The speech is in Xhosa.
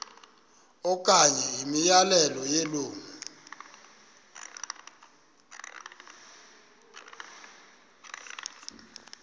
okanye imiyalelo yelungu